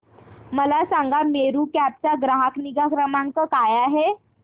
मला सांगा मेरू कॅब चा ग्राहक निगा क्रमांक काय आहे